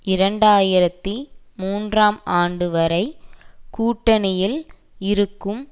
இரண்டு ஆயிரத்தி மூன்றாம் ஆண்டு வரை கூட்டணியில் இருக்கும்